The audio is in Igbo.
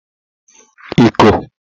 iko